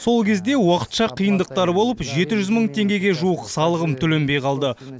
сол кезде уақытша қиындықтар болып жеті жүз мың теңгеге жуық салығым төленбей қалды